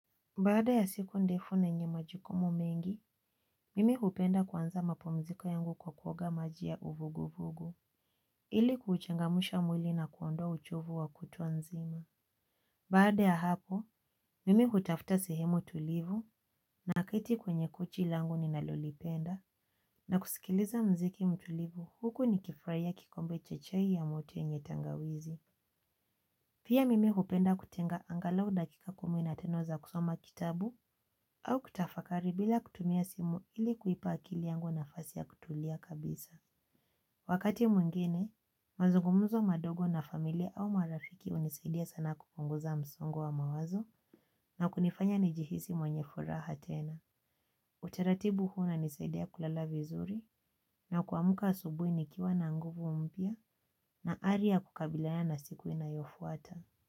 Baada ya siku ndefu na yenye majukumu mengi, mimi hupenda kuanza mapumziko yangu kwa kuoga maji ya uvugu vugu. Ili kuchangamusha mwili na kuondoa uchovu wa kutwa nzima baada ya hapo, mimi hutafuta sehemu tulivu na keti kwenye kochilangu ni nalolipenda. Na kusikiliza mziki mtulivu huku ni kufurahia kikombe cha chai ya moto yenye tangawizi pia mimi hupenda kutenga angalau dakika kumi na tano za kusoma kitabu au kutafakari bila kutumia simu ili kuipa akili yangu nafasi ya kutulia kabisa. Wakati mwingine, mazungumzo madogo na familia au marafiki unisaidia sana kupunguza msongo wa mawazo na kunifanya nijihisi mwenye furaha tena. Utaratibu huna nisaidia kulala vizuri na kuamka asubui nikiwa na nguvu mpya na hali ya kukabiliana na siku inayofuata.